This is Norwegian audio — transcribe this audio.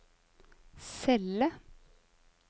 celle